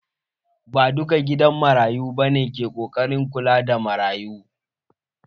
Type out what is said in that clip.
Ba duka gidan marayu bane ke ƙoƙarin kula da marayun.